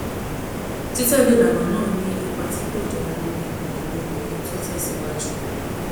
títẹlé ìlànà náà ní ipa tí kò dára lórí ìgbòkègbodò kí n tó tẹ síwájú